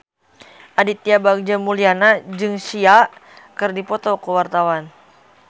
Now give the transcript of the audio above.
Aditya Bagja Mulyana jeung Sia keur dipoto ku wartawan